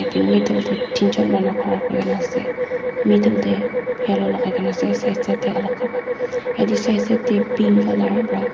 te tin char manu khara kori kina ase meddle te yellow lagai kina ase side side te alag alag te kapara aru sai te pink colour para--